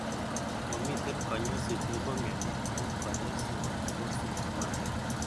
Momiten konyoiset nepo mioni ago kanyaisenyin ko symptomatic.